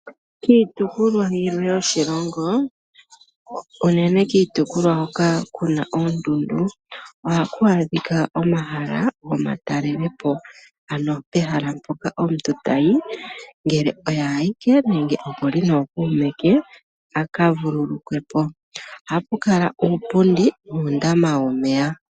Kiitopolwa yimwe yoshilongo unene kiitopolwa hoka ku na oondundu , ohaku adhika omahala gomatalele po. Ano pehala mpoka omuntu tayi ngele oye awike nenge e li nomuntu a ka vululukwe po. Ohapu kala uupundi nuundama womeya.